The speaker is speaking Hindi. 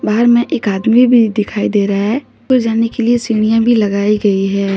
बाहर मे एक आदमी भी दिखाई दे रहा है उपर जाने के लिए सीढ़ियां भी लगाई गई है।